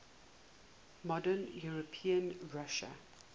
modern european russia